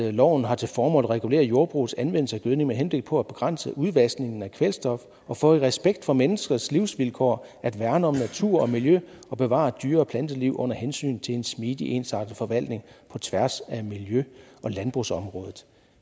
at loven har til formål at regulere jordbrugets anvendelse af gødning med henblik på at begrænse udvaskningen af kvælstof og for i respekt for menneskers livsvilkår at værne om natur og miljø og bevare dyre og planteliv under hensyn til en smidig ensartet forvaltning på tværs af miljø og landbrugsområdet